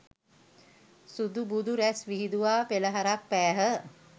සුදුබුදු රැස් විහිදුවා පෙළහරක් පෑහ